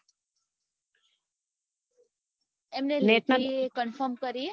એમને લીધી એ conform કરીએ